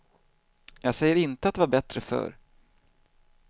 Jag säger inte att det var bättre förr.